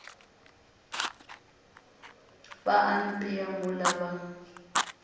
ba a apea mola ba